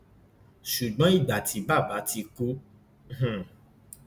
ṣùgbọn ìgbà tí bàbá ti kú hḿḿ